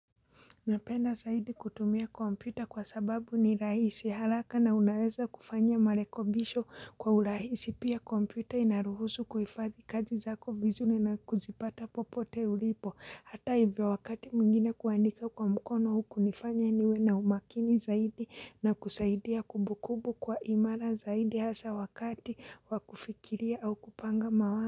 Napenda zaidi kutumia kompyuta kwa sababu ni rahisi haraka na unaweza kufanya marekebisho kwa urahisi pia kompyuta inaruhusu kuifadhi kazi zako vizuri na kuzipata popote ulipo. Hata hivyo wakati mwingine kuandika kwa mkono hunifanya niwe na umakini zaidi na kusaidia kumbukumbu kwa imara zaidi hasa wakati wa kufikiria au kupanga mawazo.